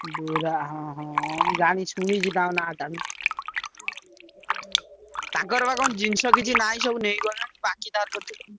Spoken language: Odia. ବୁରା ହଁ ହଁ ମୁଁ ଜାଣିଛି ଶୁଣିଛି ତାଙ୍କ ନାଁ ଟା। ତାଙ୍କର ବା କଣ ଜିନିଷ କିଛି ନାଇଁ ସବୁ ନେଇଗଲେଣି ବାକି ତାର କରୁଛନ୍ତି।